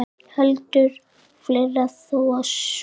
Heldur fleira þó á sumrin.